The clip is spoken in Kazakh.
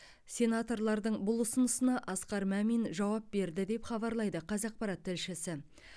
сенаторлардың бұл ұсынысына асқар мамин жауап берді деп хабарлайды қазақпарат тілшісі